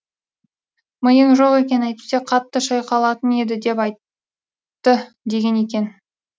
миың жоқ екен әйтпесе қатты шайқалатын еді деп айтты деген екен